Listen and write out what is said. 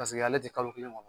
Paseke ale te kalo kelen ŋɔ